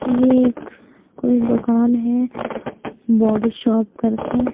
यह एक कोई दुकान है बॉडी शॉप करके--